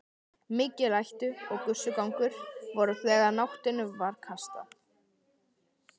Mikil læti og gusugangur voru þegar nótinni var kastað.